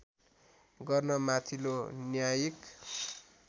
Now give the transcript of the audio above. गर्न माथिल्लो न्यायिक